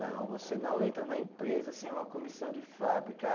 Não, você não entra na empresa sem uma comissão de fábrica.